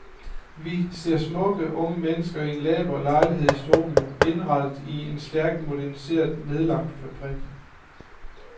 Vi ser smukke unge mennesker i en laber lejlighed i storbyen, indrettet i en stærkt moderniseret, nedlagt fabrik.